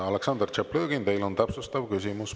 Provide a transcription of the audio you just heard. Aleksandr Tšaplõgin, teil on täpsustav küsimus.